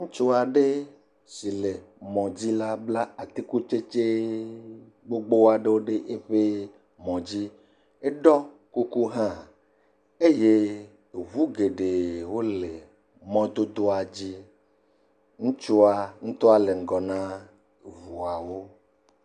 Ŋutsu aɖe si le mɔdzi la bla atikutsɖtsɛ gbogbo aɖe ɖe eƒe mɔ dzi. Eɖɔ kuku hã eye ŋu geɖewo le mɔ dodoa dzi. Ŋutsua ŋutɔ nɔ ŋgɔ na voawo.